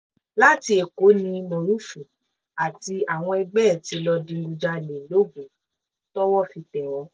láti èkó ní morufú àtàwọn ẹgbẹ́ ẹ̀ tí lọ́ọ́ digunjalè logun tọ́wọ́ fi tẹ̀ wọ́n